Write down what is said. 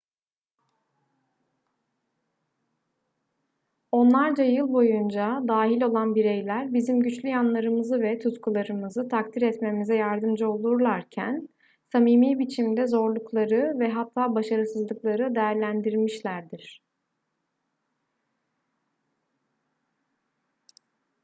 onlarca yıl boyunca dahil olan bireyler bizim güçlü yanlarımızı ve tutkularımızı takdir etmemize yardımcı olurlarken samimi biçimde zorlukları ve hatta başarısızlıkları değerlendirmişlerdir